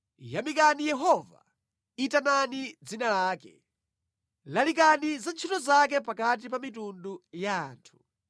Yamikani Yehova, itanani dzina lake; lalikani za ntchito zake pakati pa mitundu ya anthu.